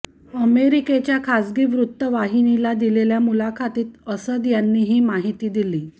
अमेरिकेच्या खाजगी वृत्तवाहिनीला दिलेल्या मुलाखतीत असद यांनी ही माहिती दिली